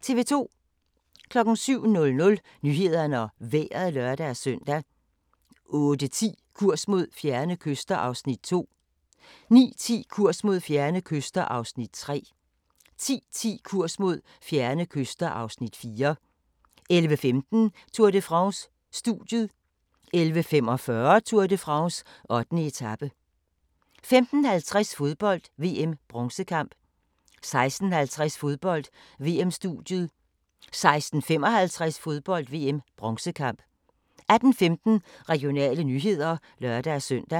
07:00: Nyhederne og Vejret (lør-søn) 08:10: Kurs mod fjerne kyster (Afs. 2) 09:10: Kurs mod fjerne kyster (Afs. 3) 10:10: Kurs mod fjerne kyster (Afs. 4) 11:15: Tour de France: Studiet 11:45: Tour de France: 8. etape 15:50: Fodbold: VM - bronzekamp 16:50: Fodbold: VM-studiet 16:55: Fodbold: VM - bronzekamp 18:15: Regionale nyheder (lør-søn)